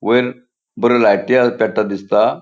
वैर बर्यो लाइट आ पेट्टा दिसता.